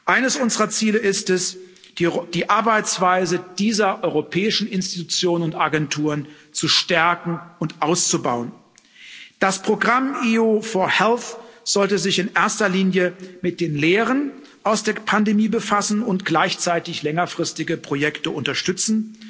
Eines unserer Ziele ist es, die Arbeitsweise dieser europäischen Institutionen und Agenturen zu stärken und auszubauen. Das Programm EU for Health sollte sich in erster Linie mit den Lehren aus der Pandemie befassen und gleichzeitig längerfristige Projekte unterstützen.